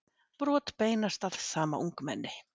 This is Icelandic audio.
Brot beinast að sama ungmenni